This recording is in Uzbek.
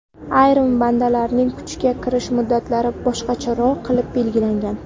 Ayrim bandlarning kuchga kirish muddatlari boshqacharoq qilib belgilangan.